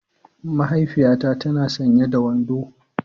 Mahaifiyata tana sanye da wando.